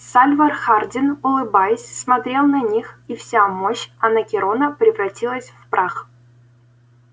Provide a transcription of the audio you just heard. сальвор хардин улыбаясь смотрел на них и вся мощь анакреона превратилась в прах